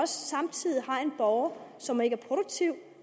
samtidig har en borger som ikke er produktiv